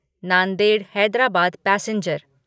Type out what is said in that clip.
Nanded Hyderabad passenger